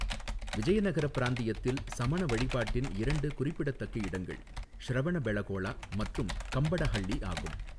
விஜயநகர பிராந்தியத்தில் சமண வழிபாட்டின் இரண்டு குறிப்பிடத்தக்க இடங்கள் ஷ்ரவணபெளகோளா மற்றும் கம்படஹள்ளி ஆகும்.